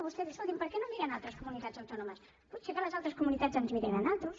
vostè diu escolti’m per què no miren altres comunitats autònomes potser que les altres comunitats ens mirin a nosaltres